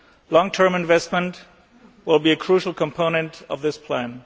Long term investment will be a crucial component of this plan.